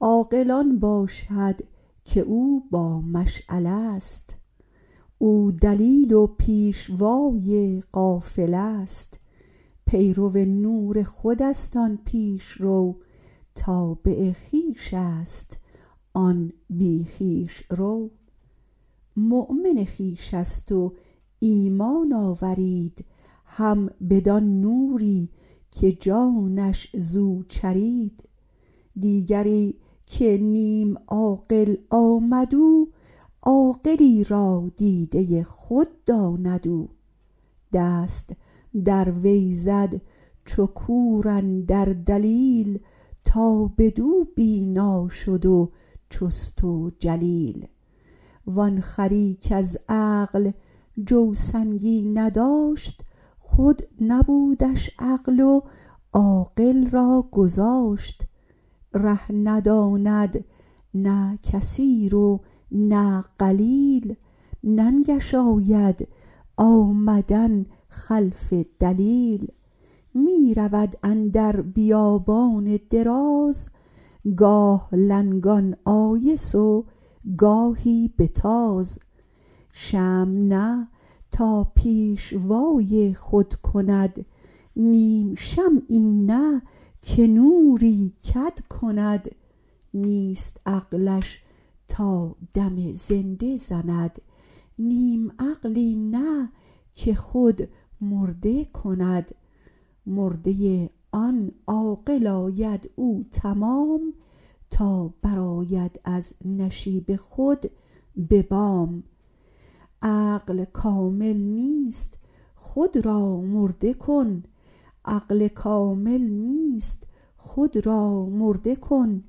عاقل آن باشد که او با مشعله ست او دلیل و پیشوای قافله ست پیرو نور خودست آن پیش رو تابع خویشست آن بی خویش رو مؤمن خویشست و ایمان آورید هم بدان نوری که جانش زو چرید دیگری که نیم عاقل آمد او عاقلی را دیده خود داند او دست در وی زد چو کور اندر دلیل تا بدو بینا شد و چست و جلیل وآن خری کز عقل جوسنگی نداشت خود نبودش عقل و عاقل را گذاشت ره نداند نه کثیر و نه قلیل ننگش آید آمدن خلف دلیل می رود اندر بیابان دراز گاه لنگان آیس و گاهی بتاز شمع نه تا پیشوای خود کند نیم شمعی نه که نوری کد کند نیست عقلش تا دم زنده زند نیم عقلی نه که خود مرده کند مرده آن عاقل آید او تمام تا برآید از نشیب خود به بام عقل کامل نیست خود را مرده کن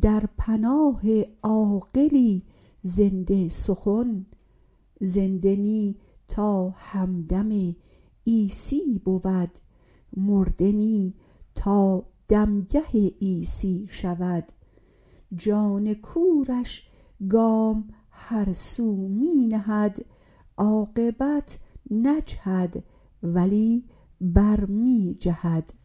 در پناه عاقلی زنده سخن زنده نی تا همدم عیسی بود مرده نی تا دمگه عیسی شود جان کورش گام هر سو می نهد عاقبت نجهد ولی بر می جهد